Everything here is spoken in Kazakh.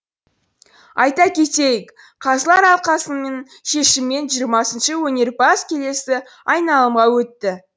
айта кетейік қазылар алқасының шешімімен жиырмасыншы өнерпаз келесі айналымға өтті